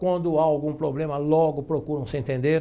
Quando há algum problema, logo procuram se entender.